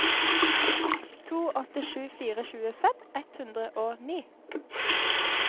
to åtte sju fire tjuefem ett hundre og ni